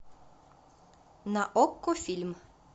на окко фильм